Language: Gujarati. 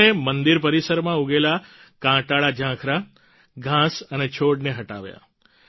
તેમણે મંદિર પરિસરમાં ઉગેલા કાંટાળા ઝાંખરા ઘાંસ અને છોડને હટાવ્યા